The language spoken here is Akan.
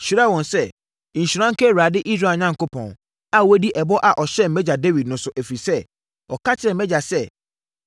“Nhyira nka Awurade, Israel Onyankopɔn, a wadi ɛbɔ a ɔhyɛɛ mʼagya Dawid no so, ɛfiri sɛ, ɔka kyerɛɛ mʼagya sɛ,